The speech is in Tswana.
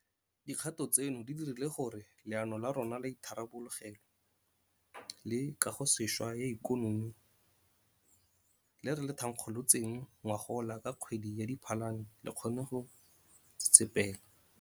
Dikgato tseno di dirile gore Leano la rona la Itharabologelo le Kagosešwa ya Ikonomi le re le thankgolotseng ngogola ka kgwedi ya Diphalane le kgone go tsetsepela.